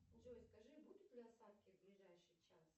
джой скажи будут ли осадки в ближайший час